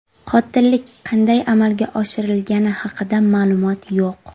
Qotillik qanday amalga oshirilgani haqida ma’lumot yo‘q.